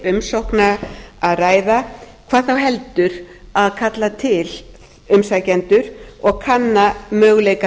umsókna að ræða hvað þá heldur að kalla til umsækjendur og kanna möguleika